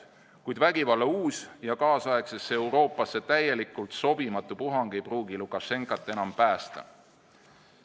Kuid vägivalla uus ja kaasaegsesse Euroopasse täielikult sobimatu puhang ei pruugi Lukašenkat enam päästa.